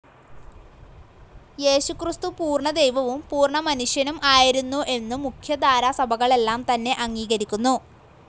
യേശുക്രിസ്തു പൂർണ്ണ ദൈവവും പൂർണ്ണ മനുഷ്യനും ആയിരുന്നു എന്നു മുഖ്യധാരാ സഭകളെല്ലാം തന്നെ അംഗീകരിക്കുന്നു.